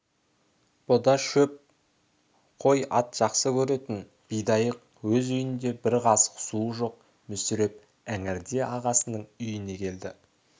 бұ да шөп қой ат жақсы көретін бидайық өз үйінде бір қасық суы жоқ мүсіреп іңірде ағасының үйіне келді